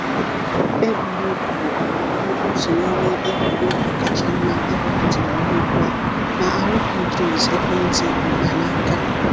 Egwuregwuu aghọwo otu n’ime egwuregwu kacha mma ewepụtara ruo ugbu a na RPGs ekwentị mkpanaaka.